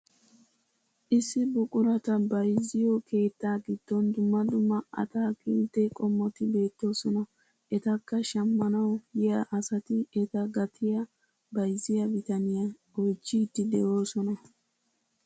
Issi buqurata bayzziyoo keettaa giddon dumma dumma ataakilitte qommoti beettoosona. etakka shammanwu yiyaa asati eta gatiyaa bayzziyaa bitaniyaa oychchiidi de'oosona.